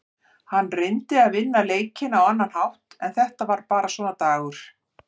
Hann reyndi að vinna leikinn á annan hátt en þetta var bara svona dagur.